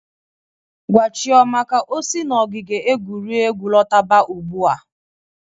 Gwa Chioma ka o si n'ogige egwuregwu lọtaba ụgbụa!